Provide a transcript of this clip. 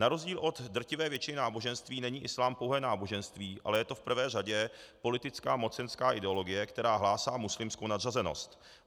Na rozdíl od drtivé většiny náboženství není islám pouhé náboženství, ale je to v prvé řadě politická mocenská ideologie, která hlásí muslimskou nadřazenost.